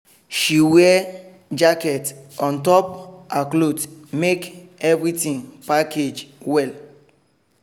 she wear jacket on top her cloth make everything package well